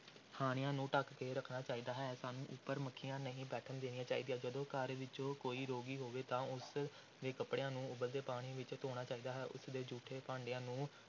ਖਾਣਿਆਂ ਨੂੰ ਢੱਕ ਕੇ ਰੱਖਣਾ ਚਾਹੀਦਾ ਹੈ, ਸਾਨੂੰ ਉੱਪਰ ਮੱਖੀਆਂ ਨਹੀਂ ਬੈਠਣ ਦੇਣੀਆਂ ਚਾਹੀਦੀਆਂ, ਜਦੋਂ ਘਰ ਵਿੱਚ ਕੋਈ ਰੋਗੀ ਹੋਵੇ ਤਾਂ ਉਸ ਦੇ ਕੱਪੜਿਆਂ ਨੂੰ ਉਬਲਦੇ ਪਾਣੀ ਵਿੱਚ ਧੋਣਾ ਚਾਹੀਦਾ ਹੈ, ਉਸਦੇ ਜੂਠੇ ਭਾਂਡਿਆਂ ਨੂੰ